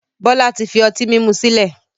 Bọlá tí fi ọtí mímú sìlẹ̀